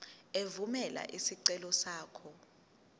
evumela isicelo sakho